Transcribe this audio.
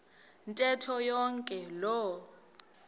ntetho yonke loo